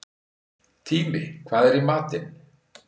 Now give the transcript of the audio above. Tími, hvað er í matinn?